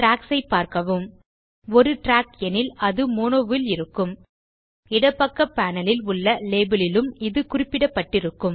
tracks ஐ பார்க்கவும்ஒரு track எனில் ஆடியோ மோனோ ல் இருக்கும் இடப்பக்க பேனல் ல் உள்ளLabel லிலும் இது குறிப்பிடப்பட்டிருக்கும்